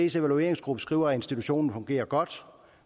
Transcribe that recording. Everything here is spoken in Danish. evalueringsgruppe skriver at institutionen fungerer godt